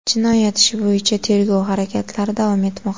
Jinoyat ishi bo‘yicha tergov harakatlari davom etmoqda”.